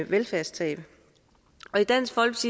velfærdstab